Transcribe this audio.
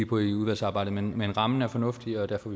på i udvalgsarbejdet men men rammen er fornuftig og derfor